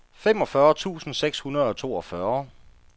femogfyrre tusind seks hundrede og toogfyrre